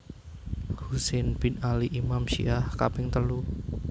Husain bin Ali Imam Syiah kaping telu